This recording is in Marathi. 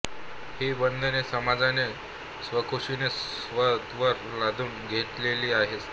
ही बंधने समाजाने स्वखुशीने स्वतःवर लादून घेतलेली असतात